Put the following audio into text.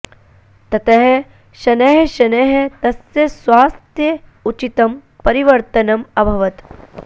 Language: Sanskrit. ततः शनैः शनैः तस्य स्वास्थ्ये उचितं परिवर्तनम् अभवत्